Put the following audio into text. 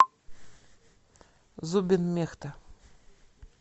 зубин мехта